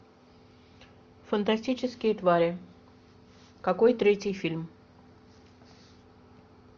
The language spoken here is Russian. фантастические твари какой третий фильм